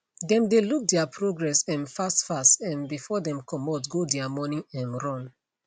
them dae look their progress um fast fast um before dem comot go dia morning um run